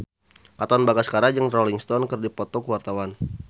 Katon Bagaskara jeung Rolling Stone keur dipoto ku wartawan